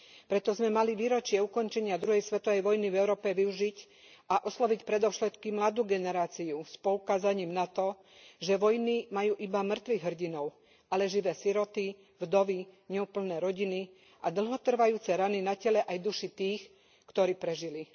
Preto sme mali výročie ukončenia druhej svetovej vojny v Európe využiť a osloviť predovšetkým mladú generáciu s poukázaním na to, že vojny majú iba mŕtvych hrdinov, ale živé siroty, vdovy, neúplné rodiny a dlhotrvajúce rany na tele aj duši tých, ktorí prežili.